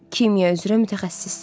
Kimya üzrə mütəxəssissiz.